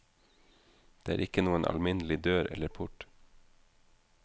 Det er ikke noen alminnelig dør eller port.